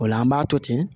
O la an b'a to ten